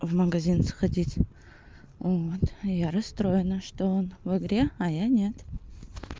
в магазин сходить вот я расстроена что он в игре а я нет